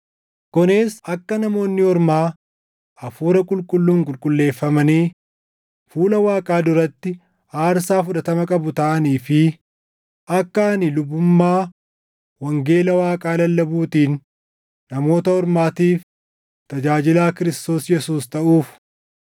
kunis akka Namoonni Ormaa Hafuura Qulqulluun Qulqulleeffamanii fuula Waaqaa duratti aarsaa fudhatama qabu taʼanii fi akka ani lubummaa wangeela Waaqaa lallabuutiin Namoota Ormaatiif tajaajilaa Kiristoos Yesuus taʼuuf.